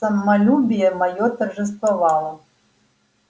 самолюбие моё торжествовало